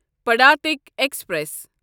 پڑاتٕکۍ express